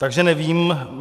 Takže nevím.